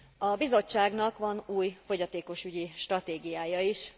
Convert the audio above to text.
A Bizottságnak van új fogyatékosügyi stratégiája is.